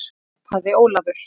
hrópaði Ólafur.